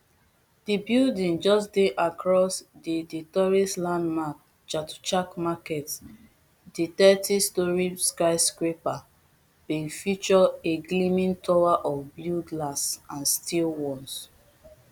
di building just dey across the the tourist landmark chatuchak market di thirtystorey skyscraper bin feature a gleaming tower of blue glass and steel once